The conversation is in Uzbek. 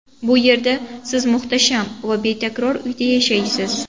Bu yerda siz muhtasham va betakror uyda yashaysiz.